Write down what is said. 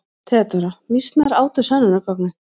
THEODÓRA: Mýsnar átu sönnunargögnin.